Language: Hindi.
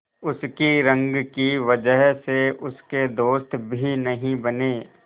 उसकी रंग की वजह से उसके दोस्त भी नहीं बने